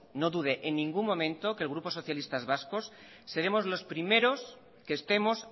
no dude en ningún momento que el grupo socialistas vascos seremos los primeros que estemos